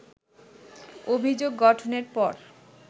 অভিযোগ গঠনের পর